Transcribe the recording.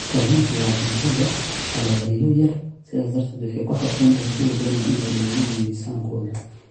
Kalluunku waa cunto leh kalooriyo yar, sidaas darteed waxay ku habboon tahay kuwa doonaya inay lumiyaan miisaankooda.